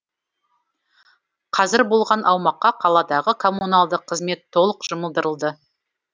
қазір болған аумаққа қаладағы коммуналдық қызмет толық жұмылдырылды